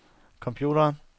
computeren